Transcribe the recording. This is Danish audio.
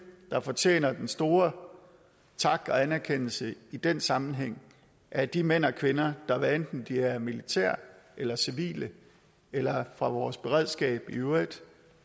der fortjener den store tak og anerkendelse i den sammenhæng er de mænd og kvinder der hvad enten de er militære eller civile eller fra vores beredskab i øvrigt